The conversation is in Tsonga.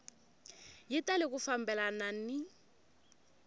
yi tali ku fambelana ni